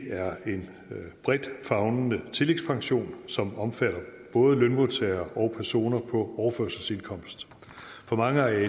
er en bredt favnende tillægspension som omfatter både lønmodtagere og personer på overførselsindkomst for mange er